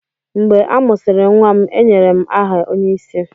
Mgbe a mụsịrị nwa m, e nyere m aha onyeisi.